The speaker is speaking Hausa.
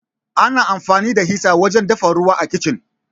Ana amfani da hita wajen dafa ruwa a Kicin.